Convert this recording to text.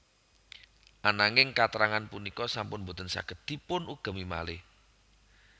Ananging katrangan punika sampun boten saged dipunugemi malih